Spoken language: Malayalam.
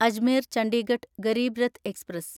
അജ്മീർ ചണ്ഡിഗഡ് ഗരീബ് രത്ത് എക്സ്പ്രസ്